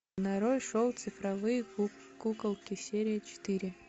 нарой шоу цифровые куколки серия четыре